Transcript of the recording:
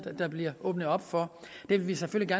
der bliver åbnet op for vi vil selvfølgelig